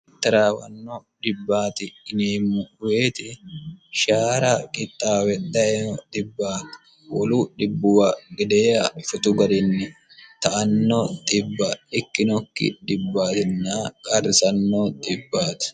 taraawanno dhibbaati yineemmo woyte shaara qixxaawe dayino xibbati wolu dhibbuwa gedeeha shotu garinni ta"anno xibba ikkinokki dhibbaatinno qarrisanno xibbaati